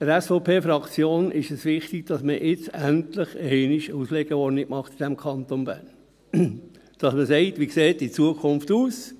Der SVP-Fraktion ist es wichtig, dass man in diesem Kanton Bern jetzt endlich einmal eine Auslegeordnung macht, dass man sagt: Wie sieht die Zukunft aus?